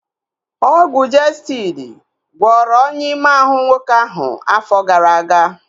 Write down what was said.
Ọgwụ Jestịdi gwọrọ ọnyá ime ahụ nwoke ahu afọ gara aga